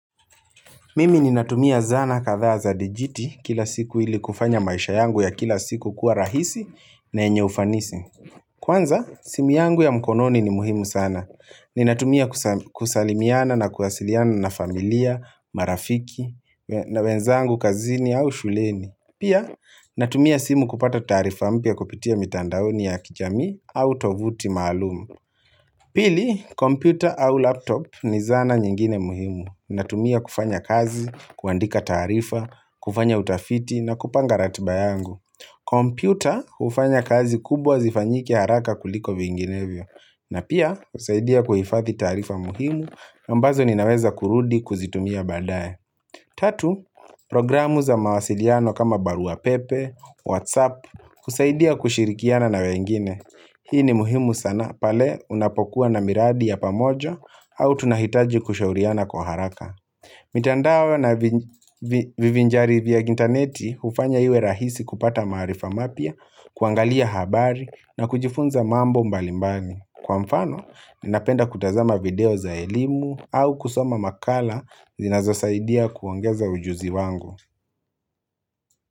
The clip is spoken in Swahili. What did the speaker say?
Mimi ninatumia zana kadhaa za dijiti kila siku ili kufanya maisha yangu ya kila siku kuwa rahisi na enye ufanisi. Kwanza, simu yangu ya mkononi ni muhimu sana. Ninatumia kusalimiana na kuwasiliana na familia, marafiki, na wenzangu kazini au shuleni. Pia, natumia simu kupata taarifa mpya kupitia mitandaoni ya kijami au tovuti maalumu. Pili, kompiyuta au laptop ni zana nyingine muhimu. Natumia kufanya kazi, kuandika taarifa, kufanya utafiti na kupanga ratba yangu kompyuta, kufanya kazi kubwa zifanyike haraka kuliko vinginevyo na pia, husaidia kuhifathi taarifa muhimu, ambazo ninaweza kurudi kuzitumia badae Tatu, programu za mawasiliano kama baruapepe, whatsapp, husaidia kushirikiana na wengine Hii ni muhimu sana, pale unapokuwa na miradi ya pamoja, au tunahitaji kushauriana kwa haraka mitandao na vivinjari vya intaneti ufanya iwe rahisi kupata marifa mapya, kuangalia habari na kujifunza mambo mbalimbani Kwa mfano, ninapenda kutazama video za elimu au kusoma makala zinazosaidia kuongeza ujuzi wangu.